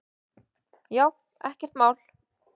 Já, ekkert mál!